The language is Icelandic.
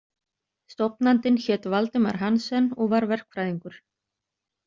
Stofnandinn hét Valdemar Hansen og var verkfræðingur.